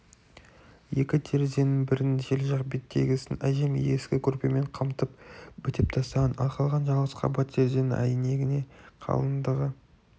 екі терезенің бірін жел жақ беттегісін әжем ескі көрпемен қымтап бітеп тастаған ал қалған жалғыз қабат терезенің әйнегіне қалыңдығы